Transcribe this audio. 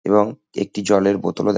এবং একটি জলের বোতলও দ্যা--